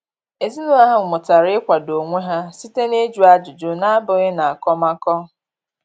Ezinụlọ ahụ mụtara ịkwado onwe ha site na-ịjụ ajụjụ, ọ bụghị n'akọmakọ.